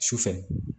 Su fɛ